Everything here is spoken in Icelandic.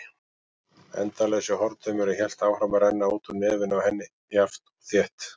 Endalausi hortaumurinn hélt áfram að renna úr nefinu á henni, jafnt og þétt.